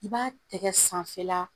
I b'a tɛgɛ sanfɛ la